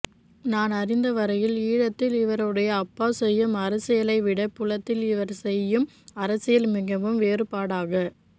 நான் அறிந்தவரையில் ஈழத்தில் இவருடைய அப்பா செய்யும் அரசியலைவிடப் புலத்தில் இவர் செய்யும் அரசியல் மிகவும் வேறுபாடாக